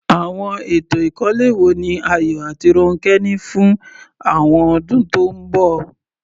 Àwọn ètò ìkọ́lé wo ni Ayo àti Ronke ní fún àwọn ọdún tó ń bọ̀?